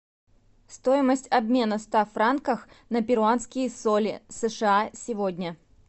стоимость обмена ста франков на перуанские соли сша сегодня